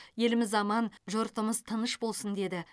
еліміз аман жұртымыз тыныш болсын деді